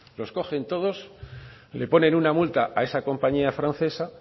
los cogen todos y le ponen una multa a esa compañía francesa